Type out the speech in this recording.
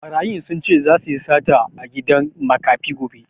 Ɓarayin sun ce zasu yi sata a gidan makafi gobe